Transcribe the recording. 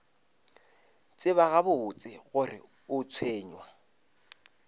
tseba gabotse gore o tshwenywa